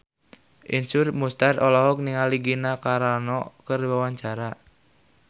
Iszur Muchtar olohok ningali Gina Carano keur diwawancara